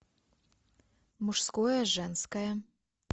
мужское женское